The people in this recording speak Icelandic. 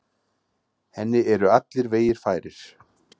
Henni eru allir vegir færir.